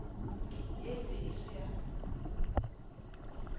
ye e be e sa